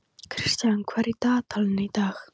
Kristian, hvað er í dagatalinu í dag?